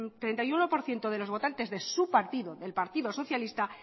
treinta y uno por ciento de los votantes de su partido del partido socialista